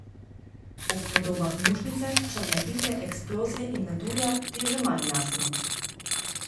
Ob podobah mušnice, črne pike, eksplozije in metulja ti je že manj jasno.